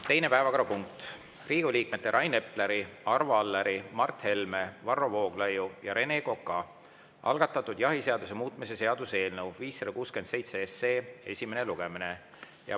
Teine päevakorrapunkt: Riigikogu liikmete Rain Epleri, Arvo Alleri, Mart Helme, Varro Vooglaiu ja Rene Koka algatatud jahiseaduse muutmise seaduse eelnõu 567 esimene lugemine.